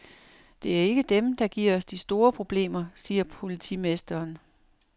Det er ikke dem, der giver os de store problemer, siger politimesteren.